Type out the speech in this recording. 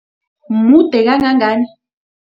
Mude kangangani?